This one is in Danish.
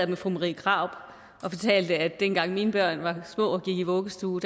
med fru marie krarup og fortalte at dengang mine børn var små og gik i vuggestue